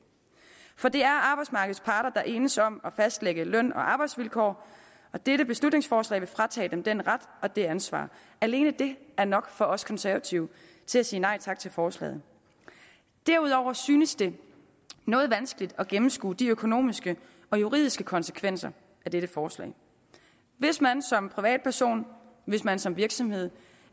for det er arbejdsmarkeds parter der enes om at fastlægge løn og arbejdsvilkår og dette beslutningsforslag vil fratage dem den ret og det ansvar alene det er nok for os konservative til at sige nej tak til forslaget derudover synes det noget vanskeligt at gennemskue de økonomiske og juridiske konsekvenser af dette forslag hvis man som privatperson hvis man som virksomhed